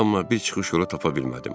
Amma bir çıxış yolu tapa bilmədim.